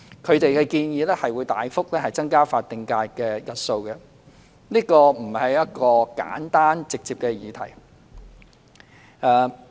他們的建議，會大幅增加法定假日的日數，這並不是一個簡單直接的議題。